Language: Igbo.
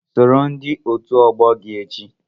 Soro ndị otu ọgbọ gị echi!